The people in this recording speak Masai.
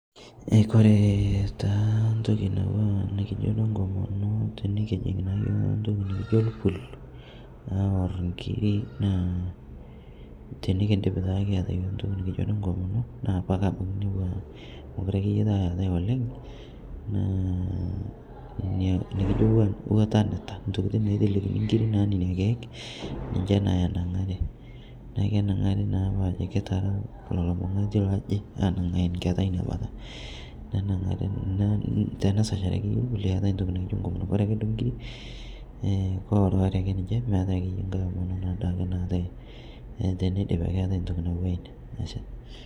Kore taa ntoki natuwaa nikijo duo nkomono tinikijing nake ntokii naijo lpul naa awor nkirii naa tinikindiip taake kiata yooh ntoki nikijo duo nkomonoo naa apa abaki inia otuwaa mokure akeye taa eatai oleng' naa inia nikijoo watanitaa ntokitin naitelekini nkirii naa nenia keek ninshe naa enang'arii naa kenang'ari naapa ajoo kitara leloo mang'ati lojii anang'aa nketaa inia bataa nenangarii tenesacharii akeyee lpul eatai ntoki nikijo nkomonoo kore akeye nkirii koworiworii akee ninshee meatai akeyee ng'hai omonoo naatai teneidipii akee eatai ntokii natuwaa inia.